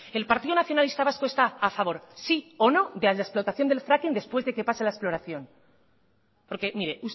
el partido nacionalista vasco está a favor sí o no de la explotación del fracking después de que pase la exploración porque mire